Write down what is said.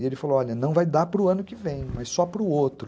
E ele falou, olha, não vai dar para o ano que vem, mas só para o outro.